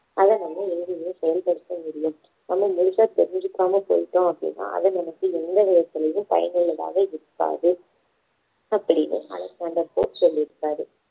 அதை வந்து எங்கேயுமே செயல்படுத்த முடியும் நம்ம முழுசா தெரிஞ்சுக்காம போயிட்டோம் அப்படின்னா அது நமக்கு எந்த விதத்துலேயும் பயனுள்ளதாக இருக்காது அப்படின்னு அலெக்சாண்டர் போப் சொல்லிருக்காரு.